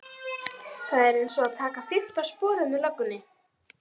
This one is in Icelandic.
Þetta er einsog að taka fimmta sporið með löggunni